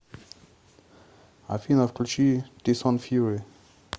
афина включи тайсон фури